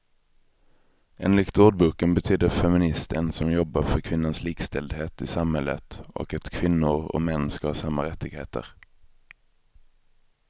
Enligt ordboken betyder feminist en som jobbar för kvinnans likställdhet i samhället och att kvinnor och män ska ha samma rättigheter.